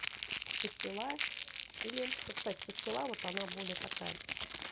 пастила или кстати пастила вот она более такая